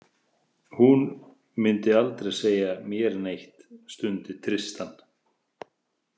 Hún myndi aldrei segja mér neitt, stundi Tristan.